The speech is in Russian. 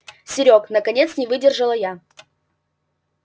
серёг наконец не выдержала я